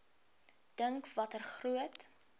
dink watter groot